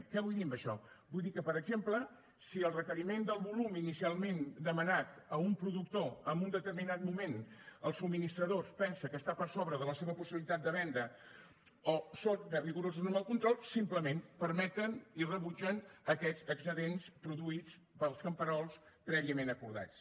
què vull dir amb això vull dir que per exemple si el requeriment del volum inicialment demanat a un productor en un determinat moment el subministrador pensa que està per sobre de la seva possibilitat de vendre o són més rigorosos amb el control simplement permeten i rebutgen aquests excedents produïts pels camperols prèviament acordats